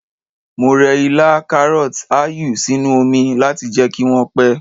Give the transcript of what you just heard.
Mo rẹ ilá, karọt, áyù sínú oni láti jẹ́ kí wọ́n pẹ́.